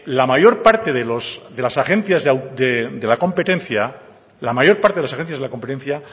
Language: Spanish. la mayor parte de las agencias de la competencia